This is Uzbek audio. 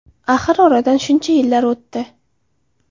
Axir oradan shuncha yillar o‘tdi.